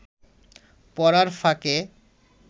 পড়ার ফাঁকে